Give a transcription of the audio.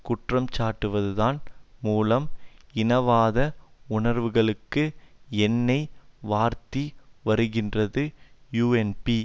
குற்றம்சாட்டுவதன் மூலம் இனவாத உணர்வுகளுக்கு எண்ணெய் வார்த்து வருகின்றது யூஎன்பி